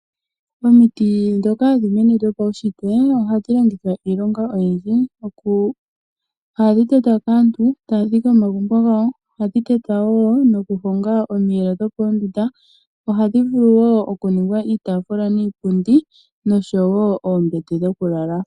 Oomiti ndhoka hadhi mene dhopawushitwe ohadhi longithwa iilonga oyindji. Ohadhi tetwa kaantu taya dhike omagumbo gawo, ohadhi tetwa wo nokuhonga omiiyelo dhopo oondunda. Ohadhi vulu wo oku ningwa iitafula niipundi noshowo oombete dhokulala.